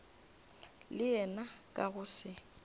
le yena ka go se